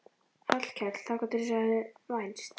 Hallkell þangað eins og þeir höfðu vænst.